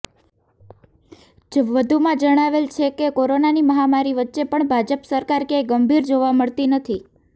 વધુમાં જણાવેલ છે કે કોરોનાની મહામારી વચ્ચે પણ ભાજપ સરકાર કયાંય ગંભીર જોવા મળતી નથી